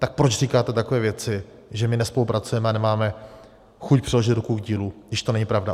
Tak proč říkáte takové věci, že my nespolupracujeme a nemáme chuť přiložit ruku k dílu, když to není pravda?